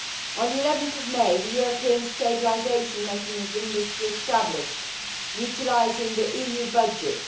On 11 May, the European Stabilisation Mechanism was established utilising the EU budget.